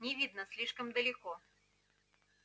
не видно слишком далеко